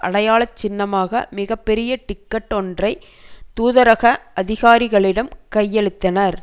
அடையாள சின்னமாக மிக பெரிய டிக்கட் ஒன்றை தூதரக அதிகாரிகளிடம் கையளித்தனர்